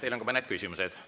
Teile on ka mõned küsimused.